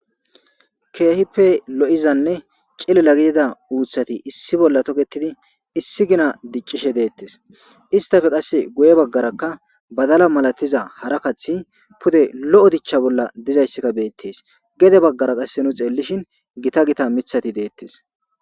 keehippe lo7izanne cilela gidida uuthati issi bolla toketidi issi gina diccishe deettes istafe qasse goye baggarakka badala malatiza hara kathi pude lo7o dichcha bolla dizayssika beettes gede baggara qasse nu xeellishin gita gita mithati deettes